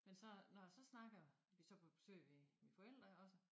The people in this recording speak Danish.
Men så når jeg så snakker vi så på besøg ved mine forældre iggås